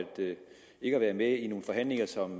have været med i nogle forhandlinger som